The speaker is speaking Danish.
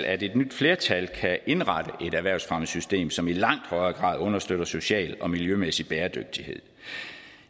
at et nyt flertal kan indrette et erhvervsfremmesystem som i langt højere grad understøtter social og miljømæssig bæredygtighed